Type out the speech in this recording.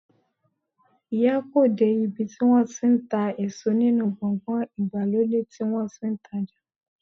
Iya ko you de ibi ti won ti n ta eso ninu gbogan igbalode ti won ti n taja